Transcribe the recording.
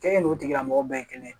K'e n'o tigilamɔgɔ bɛɛ ye kelen ye